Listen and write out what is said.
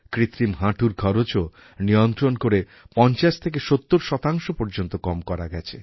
কৃত্রিম হাঁটুর খরচও নিয়ন্ত্রণ করে ৫০ থেকে ৭০ পর্যন্ত কম করা গেছে